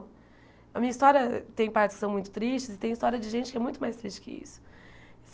A minha história tem partes que são muito tristes e tem história de gente que é muito mais triste que isso.